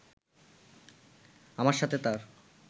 আমার সাথে তার